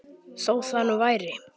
Þó það nú væri.